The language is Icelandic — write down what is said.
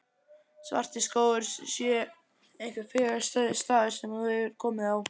Svartiskógur sé einhver fegursti staður sem þú hefur komið á.